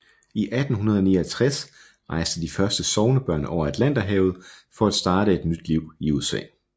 I 1869 rejste de første sognebørn over Atlanterhavet for at starte et nyt liv i USA